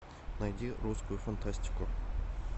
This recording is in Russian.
найди русскую фантастику